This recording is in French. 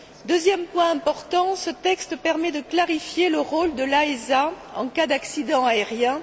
Deuxième point important ce texte permet de clarifier le rôle de l'AESA en cas d'accident aérien.